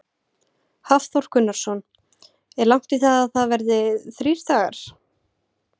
Hafþór Gunnarsson: Er langt í það að það verði þrír dagar?